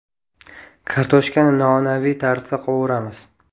Kartoshkani noan’anaviy tarzda qovuramiz.